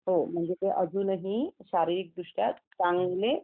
म्हणजे ते अजूनही शारीरिकदृष्ट्या चांगले